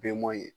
Bɔn ye